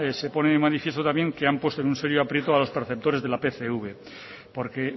se pone de manifiesto también que han puesto en un serio aprieto a los perceptores de la pcv porque